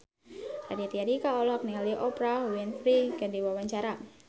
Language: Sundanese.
Raditya Dika olohok ningali Oprah Winfrey keur diwawancara